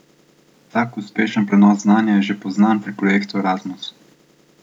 Tak uspešen prenos znanja je že poznan pri projektu Erazmus.